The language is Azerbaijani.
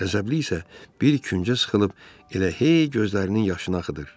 Qəzəbli isə bir küncə sıxılıb elə hey gözlərinin yaşını axıdır.